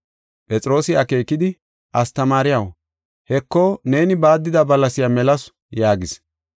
Phexroosi akeekidi, “Astamaariyaw, Heko, neeni baaddida balasiya melasu” yaagis.